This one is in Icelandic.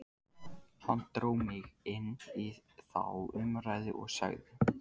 Hann dró mig inn í þá umræðu og sagði: